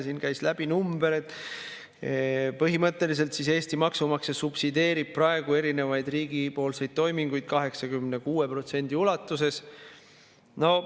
Siin käis läbi number, et põhimõtteliselt Eesti maksumaksja subsideerib praegu riigi toiminguid 86% ulatuses.